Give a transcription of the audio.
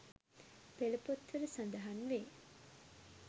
පෙළ පොත්වල සඳහන් වේ.